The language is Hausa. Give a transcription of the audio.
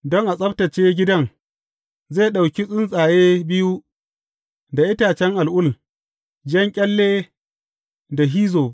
Don a tsabtacce gidan, zai ɗauki tsuntsaye biyu da itacen al’ul, jan ƙyalle da hizzob.